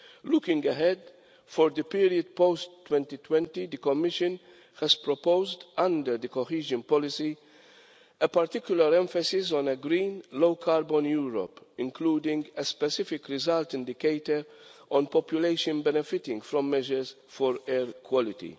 Looking ahead for the period post 2020, the Commission has proposed under the Cohesion Policy a particular emphasis on a green low carbon Europe including a specific result indicator on population benefiting from measures for air quality.